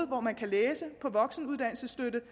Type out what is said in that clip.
hvor man kan læse på voksenuddannelsesstøtte